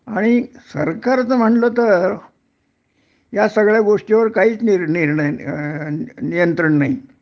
आणि सरकारच म्हणल तर या सगळ्या गोष्टीवर काहीच निर्णय अ नियंत्रण नाही